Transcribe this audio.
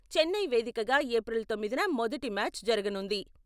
చెన్నై వేదికగా ఏప్రిల్ తొమ్మిదిన మొదటి మ్యాచ్ జరగనుంది.